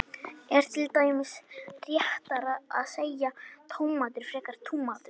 er til dæmis réttara að segja tómatur frekar en túmatur